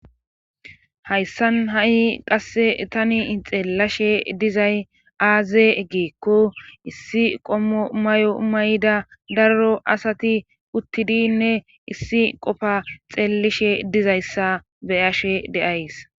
hayssan ha7i qasse tani xeelashe dizay aaze giiko issi qommo mayo may7da darro asati uttidinne issi qofa xeellishe dizayssa beyashe deays